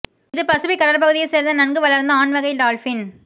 இது பசிபிக் கடற்பகுதியை சேர்ந்த நன்கு வளர்ந்த ஆண் வகை டால்பின்